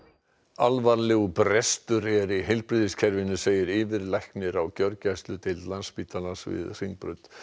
alvarlegur brestur er í heilbrigðiskerfinu segir yfirlæknir á gjörgæsludeild Landspítalans við Hringbraut